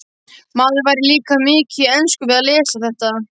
Maður lærir líka mikið í ensku við að lesa þetta.